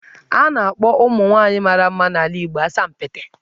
A na-akpọ nwaanyị mara mma n'ala Igbo 'Asampete'.